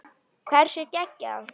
Hversu geggjað?